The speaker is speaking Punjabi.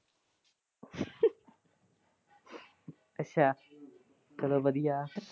ਅੱਛਾ ਚਲੋ ਵਧੀਆ।